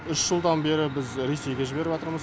үш жылдан бері біз ресейге жіберіватырмыз